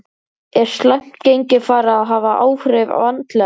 Er slæmt gengi farið að hafa áhrif andlega?